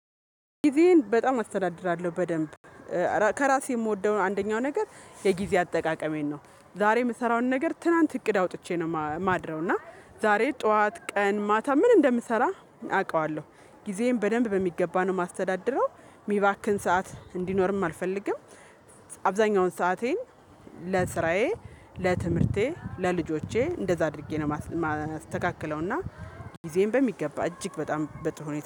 ጊዜዬን በጣም አስተዳድራለሁ በደንብ። ከራሴ የምወደውን አንደኛው ነገር የጊዜ አጠቃቀሜን ነው ዛሬ የምሰራውን ነገር ትናንት እቅድ አውጥቼ ነው የማድረው። እና ዛሬ ጠዋት ቀን ማታ ምን እንደምሰራ? አውቃለሁ ጊዜዬን በደንብ በሚገባ ነው የማስተዳድረው የሚባክን ሰዓት እንዲኖርም አልፈልግም። አብዛኛውን ሰአቴን ለስራዬ ለትምህርቴ ለልጆቼ እንደዛ አድርጌ ነው የማስተካክለው። እና ጊዜን በሚገባ እጅግ በጣም በጥሩ